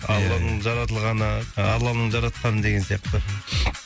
алланың жаратылғаны алланың жаратқаны деген сияқты